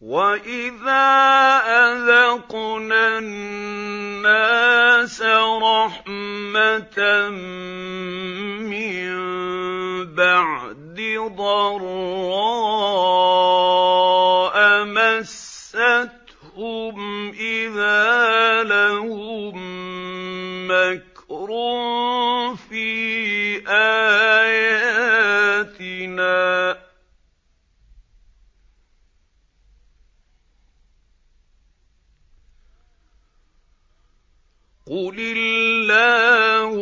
وَإِذَا أَذَقْنَا النَّاسَ رَحْمَةً مِّن بَعْدِ ضَرَّاءَ مَسَّتْهُمْ إِذَا لَهُم مَّكْرٌ فِي آيَاتِنَا ۚ قُلِ اللَّهُ